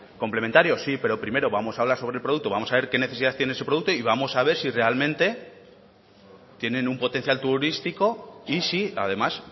complementarios sí pero primero vamos a hablar sobre el producto vamos a ver qué necesidad tiene ese producto y vamos a ver si realmente tienen un potencial turístico y si además